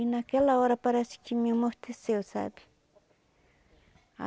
E naquela hora parece que me amorteceu, sabe?